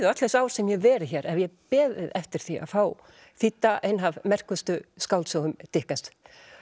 öll þessi ár sem ég hef verið hér hef ég beðið eftir því að fá þýdda eina af merkustu skáldsögum